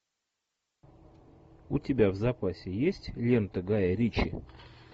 у тебя в запасе есть лента гая ричи